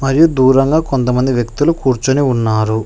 మరియు దూరంగా కొంతమంది వ్యక్తులు కూర్చొని ఉన్నారు.